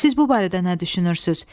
Siz bu barədə nə düşünürsünüz?